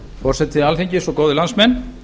forseti alþingis góðir landsmenn